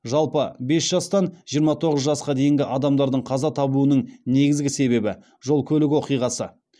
жалпы бес жастан жиырма тоғыз жасқа дейінгі адамдардың қаза табуның негізгі себебі жол көлік оқиғасы